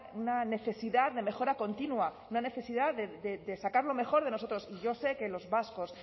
una necesidad de mejora continua una necesidad de sacar lo mejor de nosotros yo sé que los vascos